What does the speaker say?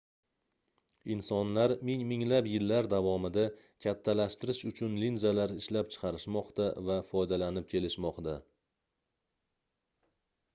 insonlar ming-minglab yillar davomida kattalashtirish uchun linzalar ishlab chiqarishmoqda va foydalanib kelishmoqda